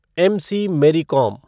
MC. Mary कोम